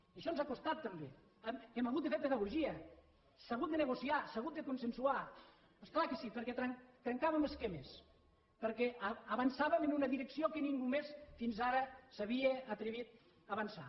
i això ens ha costat també hem hagut de fer pedagogia s’ha hagut de negociar s’ha hagut de consensuar és clar que sí perquè trencàvem esquemes perquè avançàvem en una direcció en què ningú més fins ara s’havia atrevit a avançar